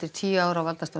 tíu ára valdatíðar